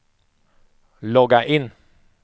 logga in